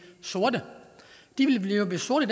sorte de ville blive sorte